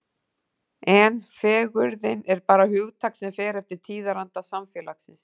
En fegurðin er bara hugtak sem fer eftir tíðaranda samfélagsins.